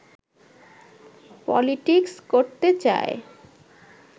politics করতে চায়